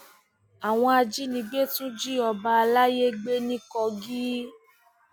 àwọn ajínigbé tún jí ọba àlàyé gbé ní kogi